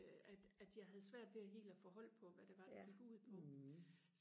øh at at jeg havde svært ved helt og få hold på hvad var det det gik ud på